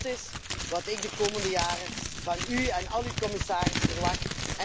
Dat is wat ik de komende jaren van u en al uw commissarissen verwacht.